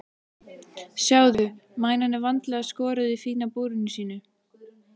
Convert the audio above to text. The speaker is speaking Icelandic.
Sjáðu, mænan er vandlega skorðuð í fína búrinu sínu.